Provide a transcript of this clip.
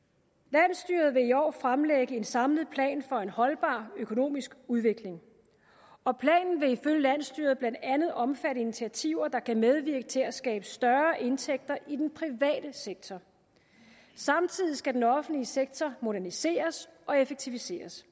landsstyret vil i år fremlægge en samlet plan for en holdbar økonomisk udvikling og planen vil ifølge landsstyret blandt andet omfatte initiativer der kan medvirke til at skabe større indtægter i den private sektor samtidig skal den offentlige sektor moderniseres og effektiviseres